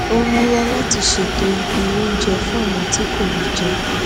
ó rànwọ láti ṣètò ibi oúnjẹ fún àwọn tí kò rí jẹ